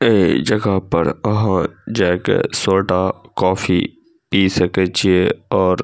ये जगह पर अहां जाकै सोडा कॉफ़ी पी सकई छे और --